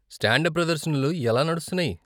Stand up ప్రదర్శనలు ఎలా నడుస్తున్నాయి?